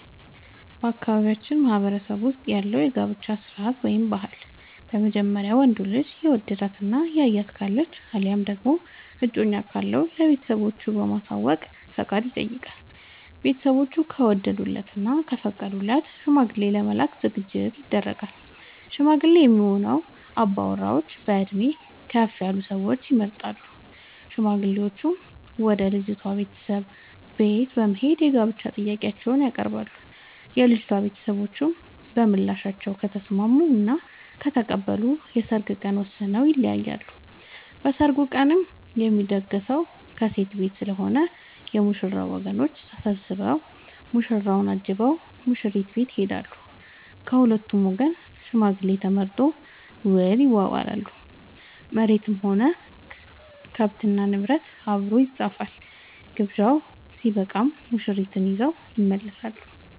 በአካባቢያችን ማህበረሰብ ውስጥ ያለው የጋብቻ ስርዓት/ ባህል በመጀመሪያ ወንዱ ልጅ የወደዳት እና ያያት ካለች አለያም ደግሞ እጮኛ ካለው ለቤተሰቦቹ በማሳወቅ ፍቃድ ይጠይቃል። ቤተስቦቹ ከወደዱለት እና ከፈቀዱለት ሽማግሌ ለመላክ ዝግጅት ይደረጋል። ሽማግሌ የሚሆኑ አባወራዎች በእድሜ ከፍ ያሉ ሰዎች ይመረጣሉ። ሽማግሌዎቹም ወደ ልጅቷ ቤተሰቦች በት በመሄድ የጋብቻ ጥያቄአቸውን ያቀርባሉ። የልጂቷ ቤተሰቦችም በምላሻቸው ከተስምስሙ እና ከተቀበሉ የሰርግ ቀን ወስነው ይለያያሉ። በሰርጉ ቀንም የሚደገሰው ከሴት ቤት ስለሆነ የ ሙሽራው ወገኖች ተሰብስቧ ሙሽራውን አጅበው ሙሽሪት ቤት ይሄዳሉ። ከሁለቱም ወገን ሽማግሌ ተመርጦ ውል ይዋዋላሉ መሬትም ሆነ ከብት እና ንብረት አብሮ ይፃፋል። ግብዣው ስበቃም ሙሽርትን ይዘው ይመለሳሉ።